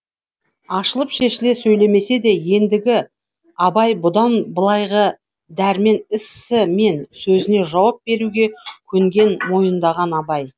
ашылып шешіле сөйлемесе де ендігі абай бұдан былайғы дәрмен ісі мен сөзіне жауап беруге көнген мойындаған абай